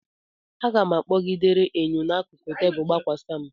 Aga m kpọgidere enyo n'akụkụ tebụl gbakwasa m.